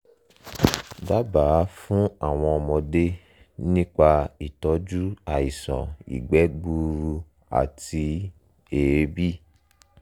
dábàá fún àwọn ọmọdé nípa ìtọ́jú àìsàn ìgbẹ́ gbuuru àti èébì